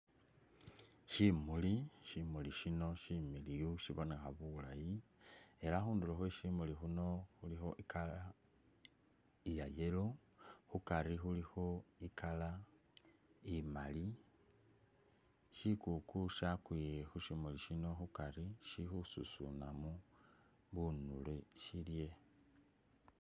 Shimuli, shimuli shino shimiliyu shibonekha bulayi era khundulo khwe shimuli shino khulikho i color iya yellow, khukari khulikho i color imali, shikuku shyakwiye khushimuli shino khukari shili khususunamo bunule shilye.